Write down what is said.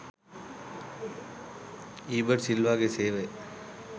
ඊබට් සිල්වාගේ සේවය